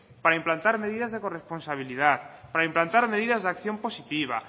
para implantar medidas de corresponsabilidad para implantar medidas de acción positiva